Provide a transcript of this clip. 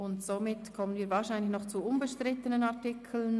Somit kommen wir zu wahrscheinlich noch unbestrittenen Artikeln.